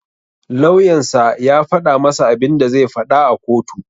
Lauyan sa ya faɗa masa abinda zai faɗa a kotu.